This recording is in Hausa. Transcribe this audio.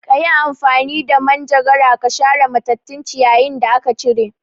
Kayi amfani da manjagara ka share matattun ciyayin ciyawin da aka cire